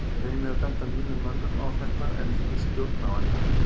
Ég reyni að benda mínum mönnum á þetta en þeir stjórna á endanum.